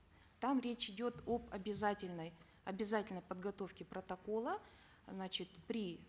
там речь идет об обязательной обязательной подготовке протокола значит при